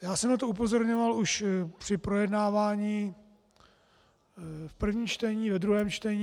Já jsem na to upozorňoval už při projednávání v prvním čtení, ve druhém čtení.